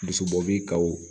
Dusubɔ bi kaw